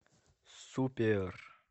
супер